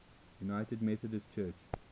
united methodist church